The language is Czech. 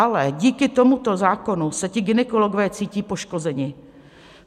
Ale díky tomuto zákonu se ti gynekologové cítí poškozeni.